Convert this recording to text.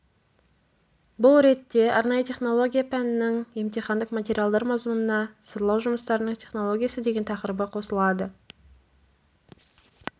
бұл ретте арнайы технология пәнінің емтихандық материалдар мазмұнына сырлау жұмыстарының технологиясы деген тақырыбы қосылады